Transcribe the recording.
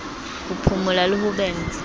ho phumula le ho bentsha